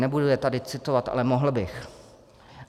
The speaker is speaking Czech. Nebudu je tady citovat, ale mohl bych.